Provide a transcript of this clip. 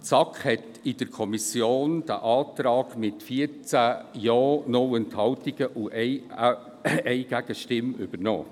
Die SAK hat diesen Antrag mit 14 Ja, 0 Enthaltungen und 1 Gegenstimme übernommen.